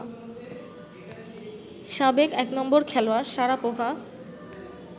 সাবেক এক নম্বর খেলোয়াড় শারাপোভা